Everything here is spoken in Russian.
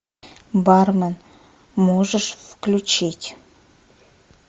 бармен можешь включить